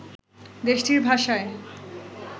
দেশটির ভাষায়